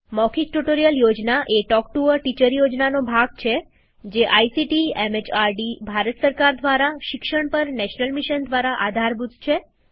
મૌખિક ટ્યુટોરીયલ યોજના એ talk to a teacher યોજનાનો ભાગ છે જે આઇસીટીએમએચઆરડીભારત સરકાર દ્વારા શિક્ષણ પર નેશનલ મિશન દ્વારા આધારભૂત છે